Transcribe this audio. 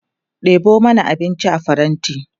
ɗebo mana abinci a faranti!